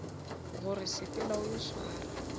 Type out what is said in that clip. gore sepela o yo swara